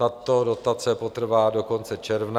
Tato dotace potrvá do konce června.